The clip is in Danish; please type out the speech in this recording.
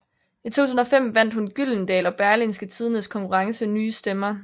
I 2005 vandt hun Gyldendal og Berlingske Tidendes konkurrence Nye Stemmer